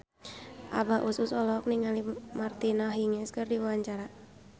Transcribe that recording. Abah Us Us olohok ningali Martina Hingis keur diwawancara